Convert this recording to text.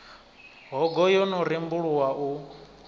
hogo yo no rembuluwa u